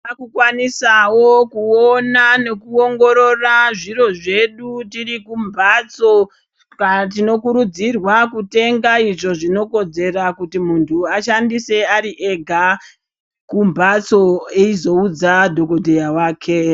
Takukwanisawo kuona nekuongorora zviro zvedu tiri kumbatso ska tinokurudzirwa kutenga zvinokodzera kuti muntu ashandise ari ega kumbatso eizo udza dhokodheya wake.